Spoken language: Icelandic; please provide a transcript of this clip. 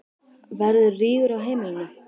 Verður rígur á heimilinu?